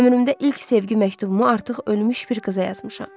Ömrümdə ilk sevgi məktubumu artıq ölmüş bir qıza yazmışam.